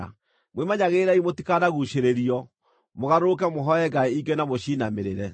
Mwĩmenyagĩrĩrei mũtikanaguucĩrĩrio, mũgarũrũke mũhooe ngai ingĩ na mũciinamĩrĩre.